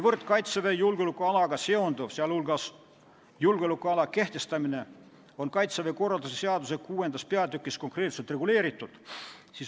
Kaitseväe julgeolekualaga seonduv, sh julgeolekuala kehtestamine, on Kaitseväe korralduse seaduse 6. peatükis konkreetselt reguleeritud.